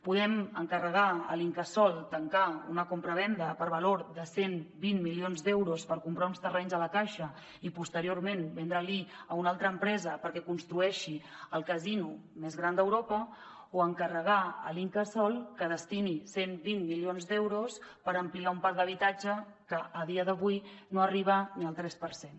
podem encarregar a l’incasòl tancar una compravenda per valor de cent i vint milions d’euros per comprar uns terrenys a la caixa i posteriorment vendre li a una altra empresa perquè construeixi el casino més gran d’europa o encarregar a l’incasòl que destini cent i vint milions d’euros per ampliar un parc d’habitatge que a dia d’avui no arriba ni al tres per cent